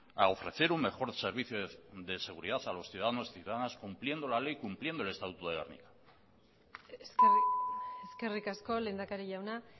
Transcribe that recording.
a ofrecer un mejor servicio de seguridad a los ciudadanos y ciudadanas cumpliendo la ley cumpliendo el estatuto de gernika eskerrik asko lehendakari jauna